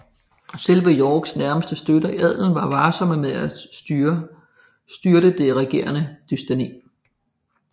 Selv Yorks nærmeste støtter i adelen var varsomme med at styrte det regerende dynasti